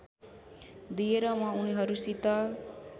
दिएर म उनिहरूसित